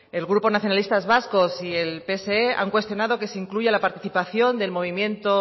el grupo nacionalistas vascos y el pse han cuestionado que se incluya la participación del movimiento